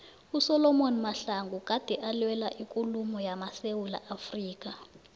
usolom mahlangu gade alwela ikululeko yamasewula afrika